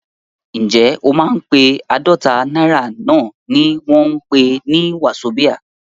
Ǹjẹ́ o mọ pé àádọ́ta náírà náà ni wọ́n ń pè ní wazobia?